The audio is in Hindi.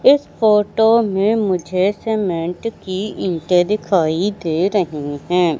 इस फोटो में मुझे सीमेंट की इंटें दिखाई दे रही हैं।